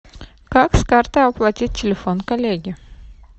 как с карты оплатить телефон коллеги